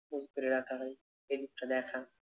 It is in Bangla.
মজুত করে রাখা হয় ঐদিকটা দেখা